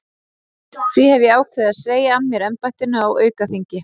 Því hef ég ákveðið að segja af mér embættinu á aukaþingi.